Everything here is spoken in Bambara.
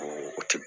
O ti